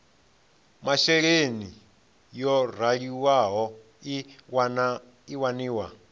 masheleni yo raliho i waniwa